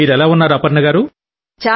మీరెలా ఉన్నారు అపర్ణ గారూ